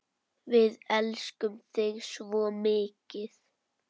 Við elskum þig svo mikið.